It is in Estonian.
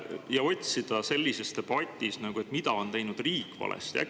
Miks otsida sellises debatis, mida on teinud riik valesti?